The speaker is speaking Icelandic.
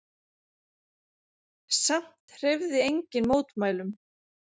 Samt hreyfði enginn mótmælum.